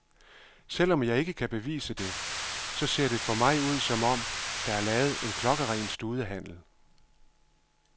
Selv om jeg ikke kan bevise det, så ser det for mig ud som om, der er lavet en klokkeren studehandel.